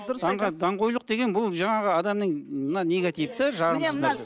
даңғойлық деген бұл жаңағы адамның мына негативті